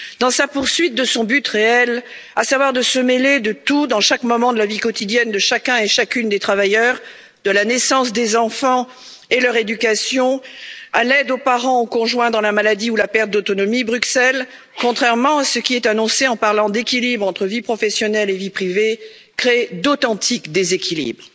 Dans sa poursuite de son but réel, à savoir se mêler de tout, dans chaque moment de la vie quotidienne de chacun et chacune des travailleurs, de la naissance des enfants et leur éducation à l'aide aux parents ou au conjoint dans la maladie ou la perte d'autonomie, Bruxelles, contrairement à ce qui est annoncé en parlant d'équilibre entre vie professionnelle et vie privée, créé d'authentiques déséquilibres,